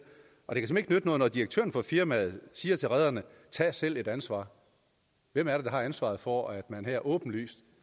noget at direktøren for firmaet siger til rederne tag selv et ansvar hvem er det der har ansvaret for at man her åbenlyst